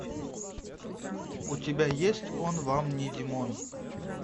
у тебя есть он вам не димон